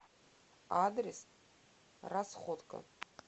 адрес расходка